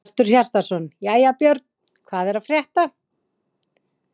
Hjörtur Hjartarson: Jæja Björn, hvað er að frétta?